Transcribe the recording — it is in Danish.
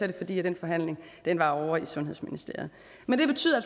det fordi den forhandling var ovre i sundhedsministeriet men det betyder